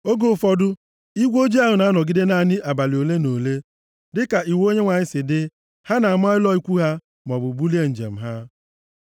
Oge ụfọdụ, igwe ojii ahụ na-anọgide naanị abalị ole na ole. Dịka iwu Onyenwe anyị si dị, ha na-ama ụlọ ikwu ha, maọbụ bulie njem ha.